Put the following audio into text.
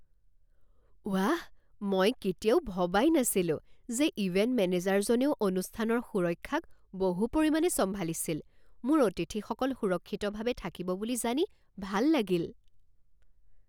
ৱাহ, মই কেতিয়াও ভবাই নাছিলো যে ইভেণ্ট মেনেজাৰজনেও অনুষ্ঠানৰ সুৰক্ষাক বহু পৰিমাণে চম্ভালিছিল! মোৰ অতিথিসকল সুৰক্ষিতভাৱে থাকিব বুলি জানি ভাল লাগিল।